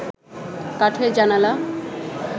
কাঠের জানালা